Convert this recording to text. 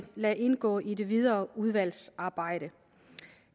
lade indgå i det videre udvalgsarbejde